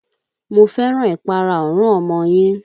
Mo fẹ́ràn ìpara irun ọmọ yín.